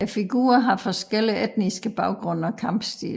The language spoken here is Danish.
Figurerne har forskellige etniske baggrunde og kampstil